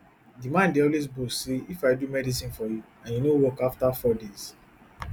di man dey always boast say if i do medicine for you and e no work afta four days